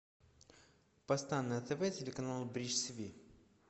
поставь на тв телеканал бридж тиви